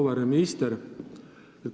Auväärne minister!